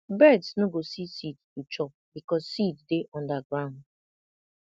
birds no go see seed to chop because seed dey under ground